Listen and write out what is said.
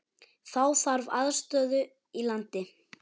Þá þarf aðstöðu í landi.